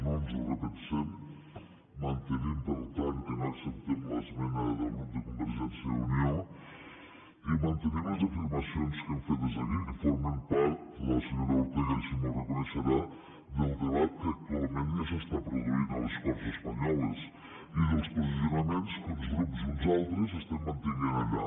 no ens ho repensem mantenim per tant que no acceptem l’esmena del grup de convergència i unió i mantenim les afirmacions que hem fet des d’aquí que formen part la senyora ortega així m’ho deurà reconèixer del debat que actualment ja s’està produint a les corts espanyoles i dels posicionaments que uns grups i uns altres estem mantenint allà